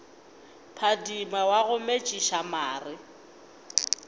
phadima wa go metšiša mare